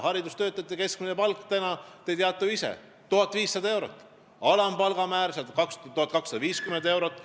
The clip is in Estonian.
Haridustöötajate keskmine palk, te teate seda ju ise, on 1500 eurot, alampalga määr on 1250 eurot.